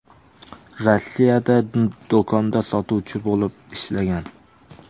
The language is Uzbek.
Rossiyada do‘konda sotuvchi bo‘lib ishlagan.